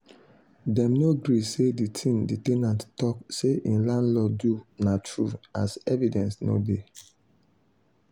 dem no agree say the thing the ten ant talk say hin landlord do na true as evidence no dey.